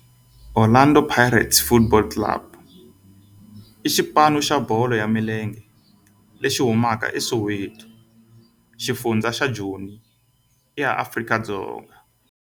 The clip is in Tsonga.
Orlando Pirates Football Club i xipano xa bolo ya milenge lexi humaka eSoweto, xifundzha xa Joni, Afrika-Dzonga.